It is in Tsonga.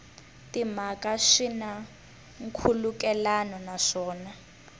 timhaka swi na nkhulukelano naswona